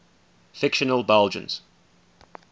fictional belgians